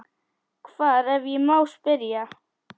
Hvar, ef ég má spyrja?